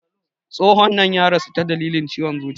Tsohon nan ya rasu ta dalilin ciwon zuciya